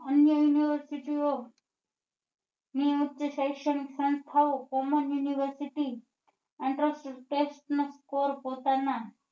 અન્ય university ઓ નીયામીક્ત સૈક્ષણિક સંસ્થાઓ common university પોતાના